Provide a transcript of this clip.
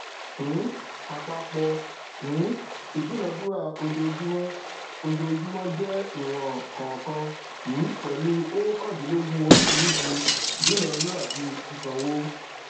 um àpapọ um ìdúnádúrà ojoojúmọ ojoojúmọ jẹ ìwọn kọọkan um pẹlú óókàndínlógún oríṣiríṣi ìdúnádúràbi ṣiṣànwo